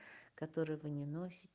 которые вы не носите